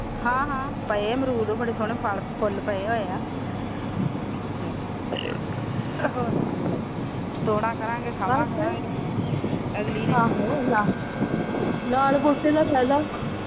ਹਾਂ ਹਾਂ ਪਾਏ ਆ ਅਮਰੂਦ ਬੜੇ ਸੋਨੇ ਫੁੱਲ ਪਾਏ ਹੋਏ ਆ